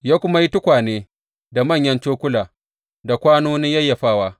Ya kuma yi tukwane da manyan cokula da kwanonin yayyafawa.